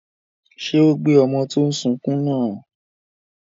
Ṣé ó gbé ọmọ tó n sunkún náà?